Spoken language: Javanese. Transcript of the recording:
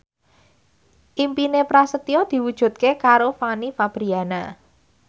impine Prasetyo diwujudke karo Fanny Fabriana